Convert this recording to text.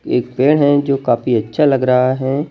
एक पेड़ हैं जो काफी अच्छा लग रहा हैं।